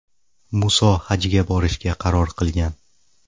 Muso hajga borishga qaror qilgan.